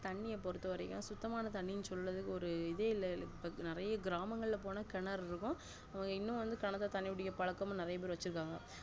தண்ணிய பொருத்தவரைக்கும் சுத்தமான தண்ணின்னு சொள்ளலவே ஒரு இது இல்ல நெறைய கிராமங்கள் போன கிணறுகள் இருக்கும் இன்னும் கிணத்துல தண்ணி குடிக்குற பழக்கம் நெறைய வச்சிருக்காங்க